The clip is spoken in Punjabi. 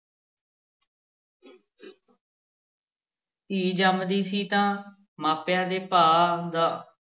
ਧੀ ਜੰਮਦੀ ਸੀ ਤਾਂ ਮਾਪਿਆਂ ਦੇ ਭਾ ਦਾ